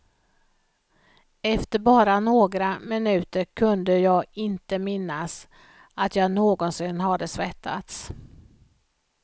Efter bara några minuter kunde jag inte minnas att jag någonsin hade svettats.